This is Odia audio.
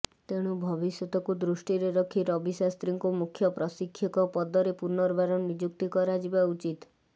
ତେଣୁ ଭବିଷ୍ୟତକୁ ଦୃଷ୍ଟିରେ ରଖି ରବି ଶାସ୍ତ୍ରୀଙ୍କୁ ମୁଖ୍ୟ ପ୍ରଶିକ୍ଷକ ପଦରେ ପୁନର୍ବାର ନିଯୁକ୍ତ କରାଯିବା ଉଚିତ୍